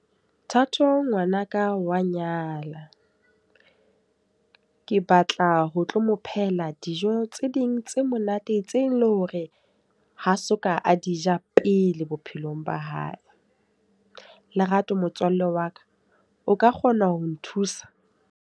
Thato ngwana ka wa nyala. Ke batla ho tlo mo phehela dijo tse ding tse monate, tse leng hore ha soka a di ja pele bophelong ba hae. Lerato motswalle wa ka, o ka kgona ho nthusa?